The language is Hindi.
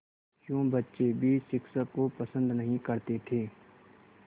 यूँ बच्चे भी शिक्षक को पसंद नहीं करते थे